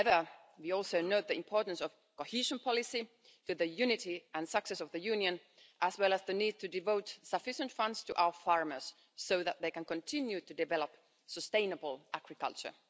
However, we also note the importance of cohesion policy to the unity and success of the Union, as well as the need to devote sufficient funds to our farmers so that they can continue to develop sustainable agriculture.